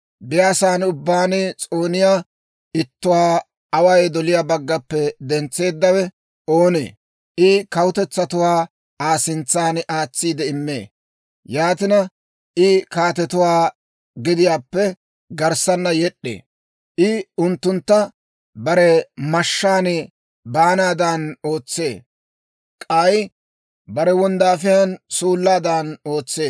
«Biyaasaa ubbaan s'ooniyaa ittuwaa away doliyaa baggappe dentseeddawe oonee? I kawutetsatuwaa Aa sintsan aatsiide immee; yaatina, I kaatetuwaa gediyaappe garssana yed'd'ee. I unttuntta bare mashshaan baanaadan ootsee; k'ay bare wonddaafiyaan suullaadan ootsee.